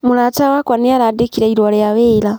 Mũrata wakwa nĩarandĩkire riũa rĩa wĩra